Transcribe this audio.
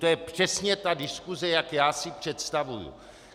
To je přesně ta diskuse, jak já si představuji.